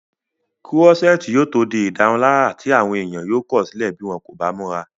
kúrọ́sẹ́ẹ̀tì yóò tó di ìdárunlárà tí àwọn èèyàn yóò kọ̀sílẹ̀ bí wọ́n kò bá múra